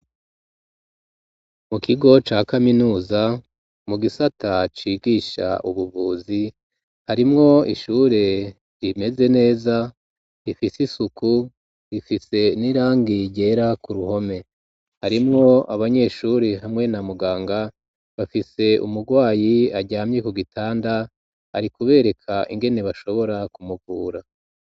Mu kigo ca kaminuza mu gisata cigisha ubuvuzi harimwo ishure rimeze neza rifise isuku rifise n'irangi rera ku ruhome harimwo abanyeshuri hamwe na muganga bafise umugwayi ajya amyi ku gitanda ari kubereka ingene bashobora kumukura.